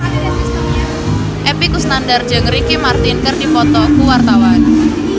Epy Kusnandar jeung Ricky Martin keur dipoto ku wartawan